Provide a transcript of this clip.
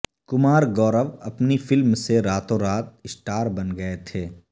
کمار گورو اپنی فلم سے راتوں رات سٹار بن گئے تھے